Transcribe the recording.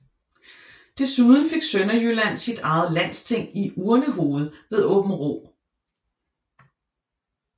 Desuden fik Sønderjylland sit eget landsting i Urnehoved ved Åbenrå